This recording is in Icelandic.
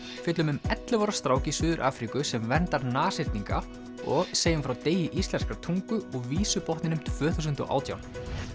fjöllum um ellefu ára strák í Suður Afríku sem verndar og segjum frá degi íslenskrar tungu og Vísubotninum tvö þúsund og átján